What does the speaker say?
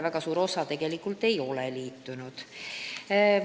Väga suur osa tegelikult ei ole liitunud.